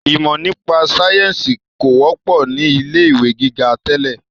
Ìmọ nípa sayẹ́nsi kò wọ́pọ̀ ni ilé ìwé gíga tẹ́lẹ̀